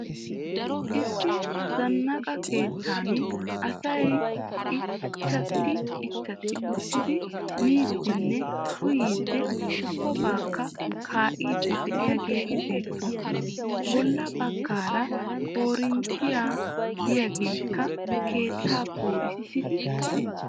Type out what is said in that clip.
Issi zannaqa keettan asay ichchatti ichchatti uttidi miiddinne uyiiddi ubbakka kaa'iiddi diyageeti beettoosona. Bolla baggaara koorinttee diyageekka keettaa poo'issiidi des.